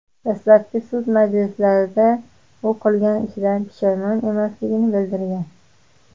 Dastlabki sud majlislarida u qilgan ishidan pushaymon emasligini bildirgan.